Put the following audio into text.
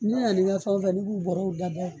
Ne nana ni n ka fɛn o fɛn ne b'u bɔrɔw da bɔ